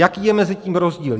Jaký je mezi tím rozdíl?